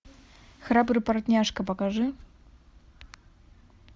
храбрый портняжка покажи